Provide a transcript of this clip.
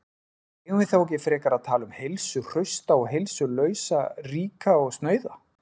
Eigum við þá ekki frekar að tala um heilsuhrausta og heilsulausa, ríka og snauða?